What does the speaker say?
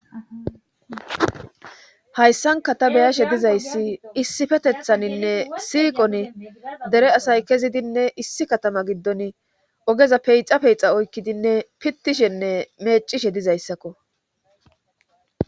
hayssanka ta beyashe dizayssi issifetethaninne siiqon dere asay kezidinne issi katama giddon ogeza peyixa peyixa oykkidinne pittishenne meecishe dizayssakko